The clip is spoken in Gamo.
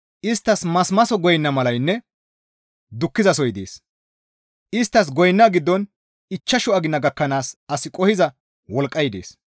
Isttas masimaso goyna malaynne dukkizasoy dees; isttas goyna giddon ichchashu agina gakkanaas as qohiza wolqqay dees.